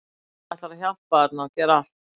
Hann ætlar að hjálpa þarna og gera allt.